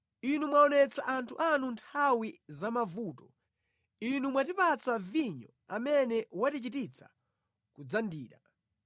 Inu mwaonetsa anthu anu nthawi za mavuto; inu mwatipatsa vinyo amene watichititsa kudzandira.